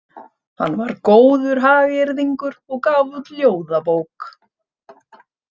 Hann var góður hagyrðingur og gaf út ljóðabók.